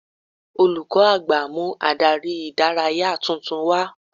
Olùkọ́ àgbà mú Ádárì ìdárayá tuntun wá